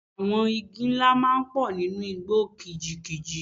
Àwọn igi ńlá máa ń pọ̀ nínú igbó kìjikìji.